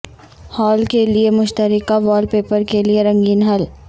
hall کے لئے مشترکہ وال پیپر کے لئے رنگین حل